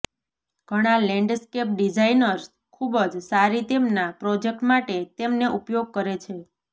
ઘણા landscape designers ખૂબ જ સારી તેમના પ્રોજેક્ટ માટે તેમને ઉપયોગ કરે છે